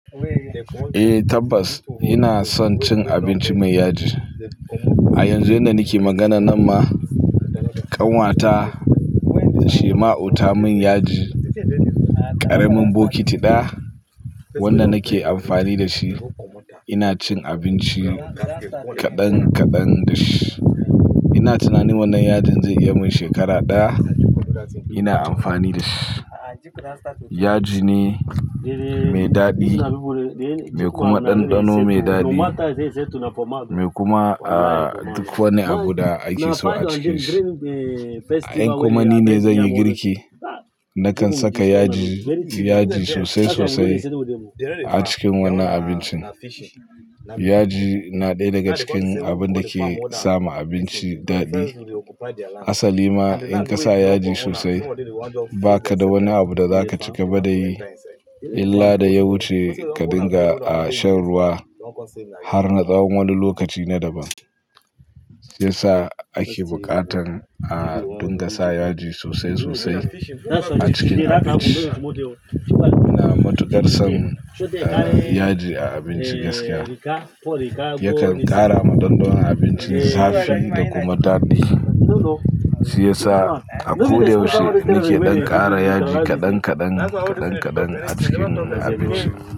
Eh tabbas ina son cin abinci mai yaji. A yanzu inda nake magana nan ma, kanwata Shema'u ta mun yaji ƙaramin bokiti ɗaya wanda nake amfani da shi. Ina cin abinci kaɗan-kaɗan da shi. Ina tunanin wannan yajin zai iya mun shekara ɗaya ina amfani da shi. Yaji ne mai daɗi, mai kuma ɗanɗano mai daɗi mai kuma, ah, duk wani abu da ake so a ciki shi. Ai in kuma ni ne zan yi girki, nakan saka yaji, yaji sosai sosai a cikin wannan abincin. Yaji na ɗaya daga cikin abun da ke sama abinci daɗi. Asali ma in ka sa yaji sosai ba ka da wani abu da zaka cika ba da yi illa da ya wuce ka dinga a shan ruwa har na tsawon wani lokaci na daban. Shi ya sa ake buƙatan a dinga sa yaji sosai sosai a cikin abinci. Ina matuƙar son yaji a abinci gaskiya. Yakan ƙara ma ɗanɗano abincin zafi da kuma daɗi. Shi ya sa a ko da yaushe nake ɗan ƙara yaji kaɗan kaɗan, kaɗan kaɗan a cikin abinci.